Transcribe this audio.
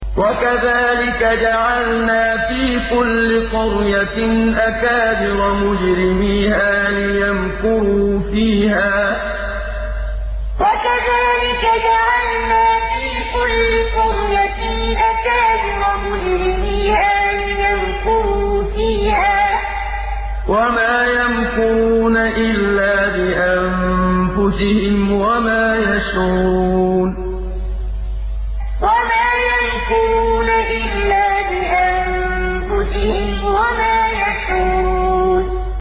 وَكَذَٰلِكَ جَعَلْنَا فِي كُلِّ قَرْيَةٍ أَكَابِرَ مُجْرِمِيهَا لِيَمْكُرُوا فِيهَا ۖ وَمَا يَمْكُرُونَ إِلَّا بِأَنفُسِهِمْ وَمَا يَشْعُرُونَ وَكَذَٰلِكَ جَعَلْنَا فِي كُلِّ قَرْيَةٍ أَكَابِرَ مُجْرِمِيهَا لِيَمْكُرُوا فِيهَا ۖ وَمَا يَمْكُرُونَ إِلَّا بِأَنفُسِهِمْ وَمَا يَشْعُرُونَ